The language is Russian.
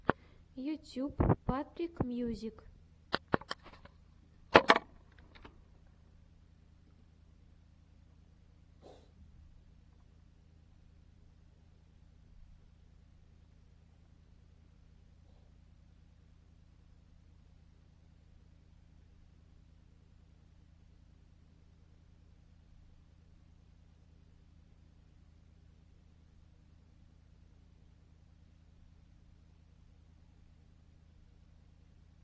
ютюб патрик мьюзик